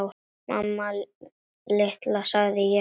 Mamma litla, sagði ég.